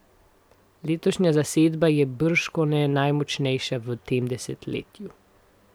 Letošnja zasedba je bržkone najmočnejša v tem desetletju.